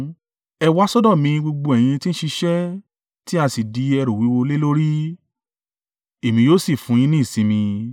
“Ẹ wá sọ́dọ̀ mi gbogbo ẹ̀yin tí ń ṣiṣẹ́ tí a sì di ẹrù wíwúwo lé lórí, èmi yóò sì fún yín ní ìsinmi.